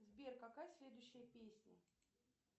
сбер какая следующая песня